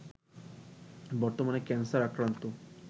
বর্তমানে ক্যানসার আক্রান্ত